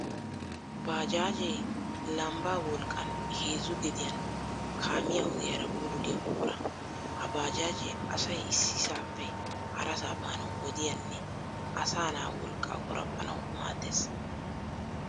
Baajaajee lambbaa wolqqan heezzu gediyan kaamiya ogiyaara bululiya buqura. Ha baajaajee asay issisaappe harasaa baanawu wodiyanne asanaa wolqqaa qoraphanawu maaddes.